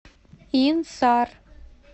инсар